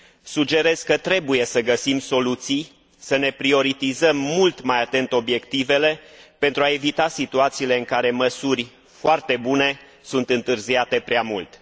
Sugerez că trebuie să găsim soluții, să prioritizăm mult mai atent obiectivele pentru a evita situațiile în care măsuri foarte bune sunt întârziate prea mult.